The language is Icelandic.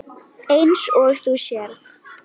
Eins og þú sérð.